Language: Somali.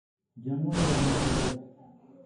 Jamuni waa miro xagaaga.